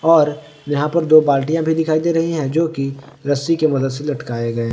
और यहां पर दो बाल्टीया भी दिखाई दे रही है जो की रस्सी के मदद से लटकाए गए --